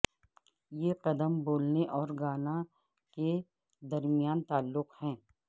یہ قدم بولنے اور گانا کے درمیان تعلق ہے